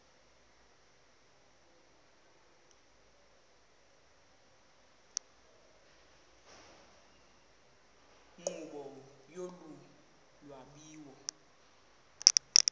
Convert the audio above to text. nkqubo yolu lwabiwo